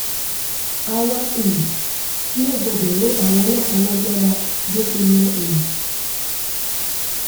awa um naa gbọdọ ro awọn ọlọpa lagbara boseyẹ